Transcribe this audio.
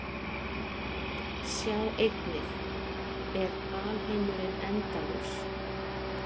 Sjá einnig: Er alheimurinn endalaus?